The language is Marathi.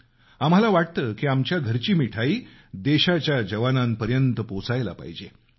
आम्हाला वाटतं की आमच्या घरची मिठाई देशाच्या जवानांपर्यंत पोचायला पाहिजे